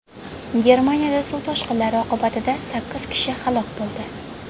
Germaniyada suv toshqinlari oqibatida sakkiz kishi halok bo‘ldi.